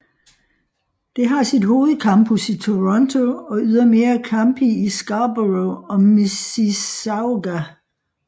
Det har sit hovedcampus i Toronto og ydermere campi i Scarborough og Mississauga